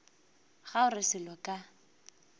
ga o re selo ka